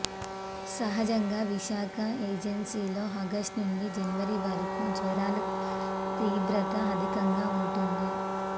సహజంగా విశాఖ ఏజెన్సీలో ఆగస్టు నుండి జనవరి వరకు జ్వరాల తీవ్రత అధికంగ ఉంటుంది